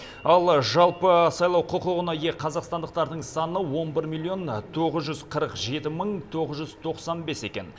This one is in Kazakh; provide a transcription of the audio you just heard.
ал жалпы сайлау құқығына ие қазақстандықтардың саны он бір миллион тоғыз жүз қырық жеті мың тоғыз жүз тоқсан бес екен